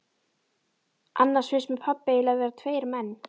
Annars finnst mér pabbi eiginlega vera tveir menn.